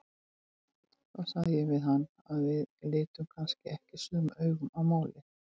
Þá sagði ég við hann að við litum kannski ekki sömu augum á málin.